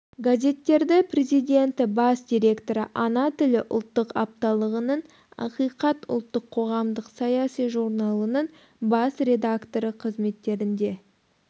газеттері президенті бас директоры ана тілі ұлттық апталығының ақиқат ұлттық қоғамдық-саяси журналының бас редакторы қызметтерінде